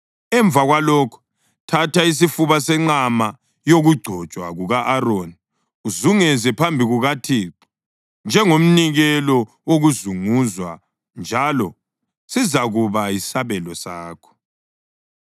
Emva kwalokho thatha isifuba senqama yokugcotshwa kuka-Aroni uzunguze phambi kukaThixo njengomnikelo wokuzunguzwa njalo sizakuba yisabelo sakho.